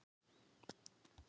Það er nú til skoðunar